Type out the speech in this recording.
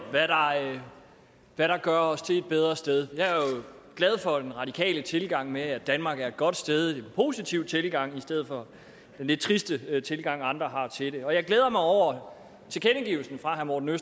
hvad der gør os til et bedre sted jeg er jo glad for den radikale tilgang at danmark er et godt sted en positiv tilgang i stedet for den lidt triste tilgang andre har til det og jeg glæder mig over tilkendegivelsen fra herre morten